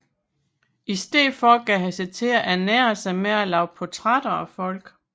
I stedet gav han sig til at ernære sig med at lave portrætter af folk